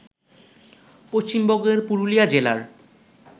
পশ্চিমবঙ্গের পুরুলিয়া জেলার